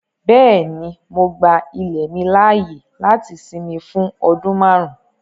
Bẹ́ẹ̀ni, mo gbà ilẹ̀ mi laaye láti sìnmì fún ọdún màárùn.